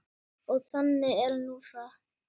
Og þannig er nú það.